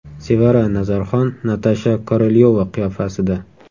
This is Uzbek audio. Sevara Nazarxon Natasha Korolyova qiyofasida.